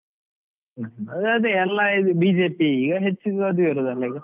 ಅದೇ ಅದೇ, ಎಲ್ಲಾ BJP ಈಗ ಹೆಚ್ಚು ಇರು~ ಅದೇ ಇರುವುದಲ್ಲಾ ಈಗ.